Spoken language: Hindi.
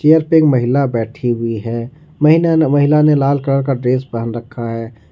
चेयर पे एक महिला बैठी हुई है महीना महिला ने लाल कलर का ड्रेस पहन रखा है।